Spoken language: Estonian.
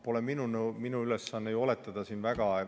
Pole minu ülesanne ju siin väga midagi oletada.